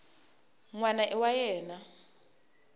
n wana i wa yena